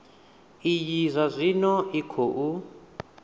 iyi zwa zwino i khou